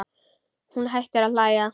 Hún hættir að hlæja.